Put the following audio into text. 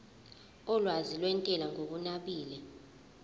olwazi lwentela ngokunabile